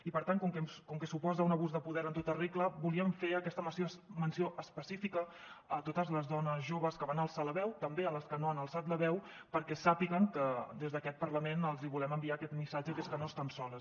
i per tant com que suposa un abús de poder en tota regla volíem fer aquesta menció específica a totes les dones joves que van alçar la veu també a les que no han alçat la veu perquè sàpiguen que des d’aquest parlament els volem enviar aquest missatge que és que no estan soles